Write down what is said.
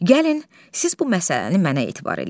Gəlin, siz bu məsələni mənə etibar eləyin.